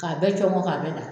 K'a bɛɛ cɔngɔn k'a bɛɛ da